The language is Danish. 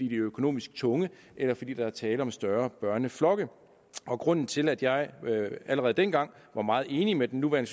økonomisk tunge eller fordi der er tale om større børneflokke og grunden til at jeg allerede dengang var meget enig med den nuværende